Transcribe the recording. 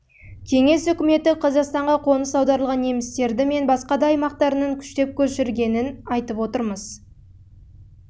кеңес үкіметі қазақстанға қоныс аударылған немістерді мен басқа да аймақтарынан күштеп көшіргенін айтып отырмыз